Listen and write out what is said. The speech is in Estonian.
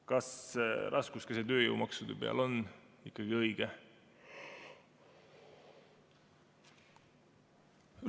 Kas see, et raskuskese on tööjõumaksude peal, on ikkagi õige?